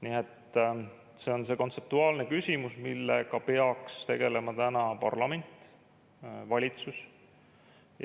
Nii et see on kontseptuaalne küsimus, millega peaksid tegelema täna parlament ja valitsus.